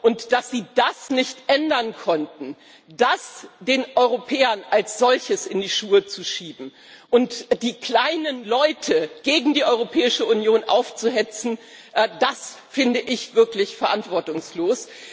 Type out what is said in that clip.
Und die Tatsache, dass sie das nicht ändern konnten, den Europäern als solche in die Schuhe zu schieben und die kleinen Leute gegen die Europäische Union aufzuhetzen, finde ich wirklich verantwortungslos.